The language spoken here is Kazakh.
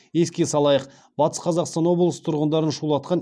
еске салайық батыс қазақстан облысы тұрғындарын шулатқан